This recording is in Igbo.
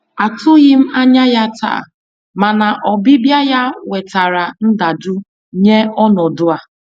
Atụghị m anya ya taa, mana ọbịbịa ya wetara ndajụ nye ọnọdụ a.